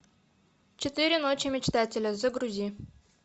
четыре ночи мечтателя загрузи